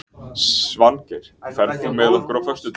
Svangeir, ferð þú með okkur á föstudaginn?